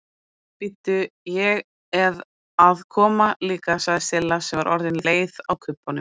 Bíddu, ég eð að koma líka sagði Silla sem var orðin leið á kubbunum.